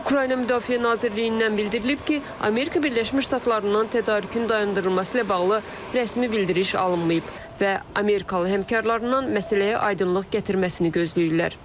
Ukrayna Müdafiə Nazirliyindən bildirilib ki, Amerika Birləşmiş Ştatlarından tədarükün dayandırılması ilə bağlı rəsmi bildiriş alınmayıb və amerikalı həmkarlarından məsələyə aydınlıq gətirməsini gözləyirlər.